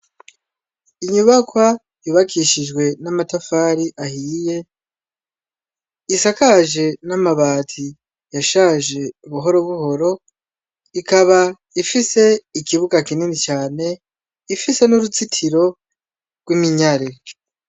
Inyubakwa yubakishije amatafari ahiye isakaje n'amati yashaje buhoro buhoro ikaba ifise ikibuga kinini cane ifise n'uruzitiro rw'iminyari.